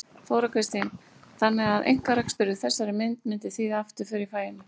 Þóra Kristín: Þannig að einkarekstur í þessari mynd myndi þýða afturför í faginu?